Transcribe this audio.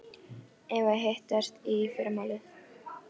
Eigum við að hittast í fyrramálið?